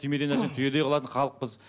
түймедей нәрсені түйедей қылатын халықпыз